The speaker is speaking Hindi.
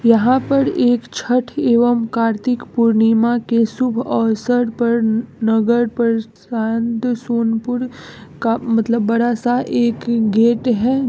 यहां पर एक छत एवं कार्तिक पूर्णिमा के शुभ अवसर पर नगर परसंद सोनपुर का मतलब बड़ा सा एक गेट है।